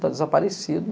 Tá desaparecido.